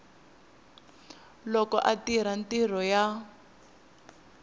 loko a tirha mintirho ya